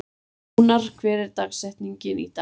Jónar, hver er dagsetningin í dag?